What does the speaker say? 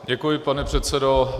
Děkuji, pane předsedo.